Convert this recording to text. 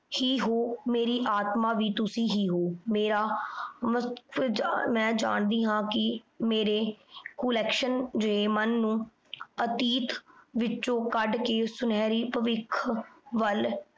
ਹੀ ਹੋ ਮੇਰੀ ਆਤਮਾ ਵੀ ਤੁਸੀਂ ਹੀ ਹੋ ਮੇਰਾ ਵਕਤ ਮੈਂ ਜਾਣ ਦੀ ਹਾਂ ਕਿ ਮੇਰੇ ਕੋਲੇਕਸ਼ਨ ਦੇ ਮਨ ਨੂੰ ਅਤੀਤ ਵਿੱਚੋ ਕੱਢ ਕ ਸੁਨਹਿਰੀ ਭਵਿੱਖ ਵੱਲ